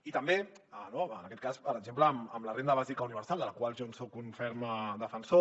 i també en aquest cas per exemple amb la renda bàsica universal de la qual jo soc un ferm defensor